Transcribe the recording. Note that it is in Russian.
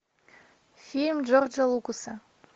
фильм джорджа лукаса